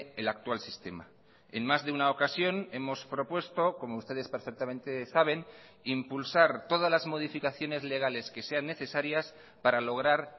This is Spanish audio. el actual sistema en más de una ocasión hemos propuesto como ustedes perfectamente saben impulsar todas las modificaciones legales que sean necesarias para lograr